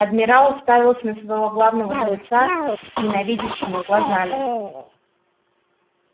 адмирал уставился на своего главного жреца ненавидящими глазами